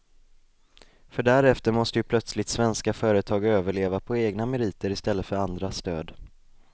För därefter måste ju plötsligt svenska företag överleva på egna meriter i stället för andras stöd.